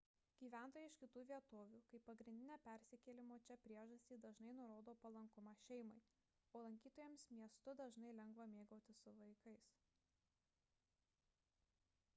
gyventojai iš kitų vietovių kaip pagrindinę persikėlimo čia priežastį dažnai nurodo palankumą šeimai o lankytojams miestu dažnai lengva mėgautis su vaikais